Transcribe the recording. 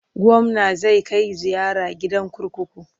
Gwamna zai kai ziyara gidan kurkuku.